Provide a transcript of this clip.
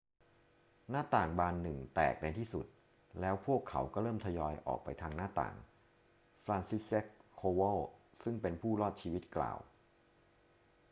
หน้าต่างบานหนึ่งแตกในที่สุด แล้วพวกเขาก็เริ่มทยอยออกไปทางหน้าต่าง franciszek kowal ซึ่งเป็นผู้รอดชีวิตกล่าว